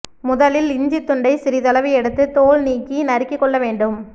முதலில் இஞ்சி துண்டை சிறிதளவு எடுத்து தோல் நீக்கி நறுக்கி கொள்ள வேண்டும்